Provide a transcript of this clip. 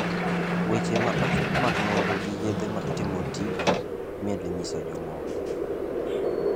Weche ma ochok mag nonro gi yedhe ma itemo tigo imedo nyiso ji ma moko.